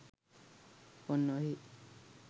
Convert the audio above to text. ඔන්න ඔහේ